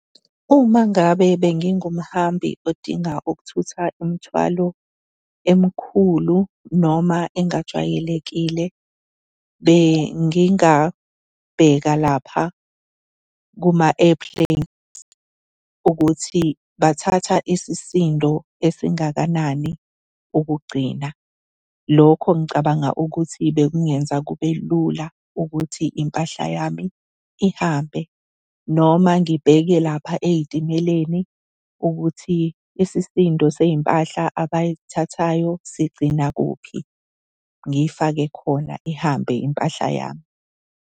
Uma ngabe bengingumhambi odinga ukuthutha imithwalo emikhulu noma engajwayelekile, bengingabheka lapha kuma-airplanes ukuthi bathatha isisindo esingakanani ukugcina. Lokho ngicabanga ukuthi bekungenza kube lula ukuthi impahla yami ihambe. Noma ngibheke lapha ey'timeleni ukuthi isisindo sey'mpahla abayithathayo sigcina kuphi, ngiyifake khona ihambe impahla yami.